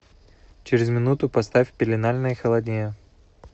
через минуту поставь в пеленальной холоднее